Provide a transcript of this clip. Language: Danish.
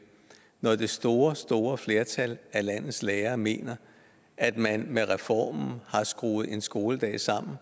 når det store store flertal af landets lærere mener at man med reformen har skruet en skoledag sammen